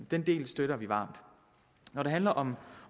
den del støtter vi varmt når det handler om